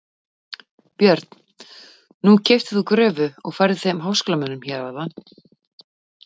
Björn: Nú keyptir þú gröfu og færðir þeim háskólamönnum hér áðan?